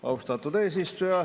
Austatud eesistuja!